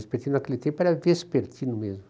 Mas porque naquele tempo era vespertino mesmo.